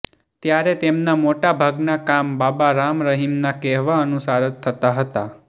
ત્યારે તેમના મોટા ભાગના કામ બાબા રામ રહીમના કહેવા અનુસાર જ થતા હતા